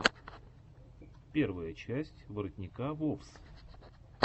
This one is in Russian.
первая часть воротника вовс